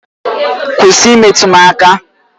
Kwụsị imetụ m aka!